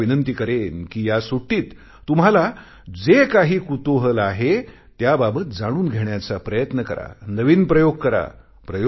मी तुम्हाला विनंती करेन कि या सुट्टीत तुम्हाला जे काही कुतूहल आहे त्याबाबत जाणून घेण्याचा प्रयत्न करा नवीन प्रयोग करा